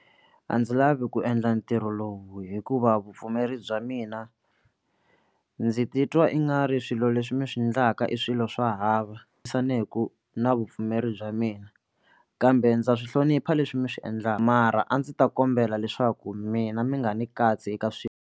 A ndzi lavi ku endla ntirho lowu hikuva vupfumeri bya mina ndzi titwa i nga ri swilo leswi mi swi endlaka i swilo swa hava na vupfumeri bya mina kambe ndza swi hlonipha leswi mi swi endlaka mara a ndzi ta kombela leswaku mina mi nga ni katsi eka swi.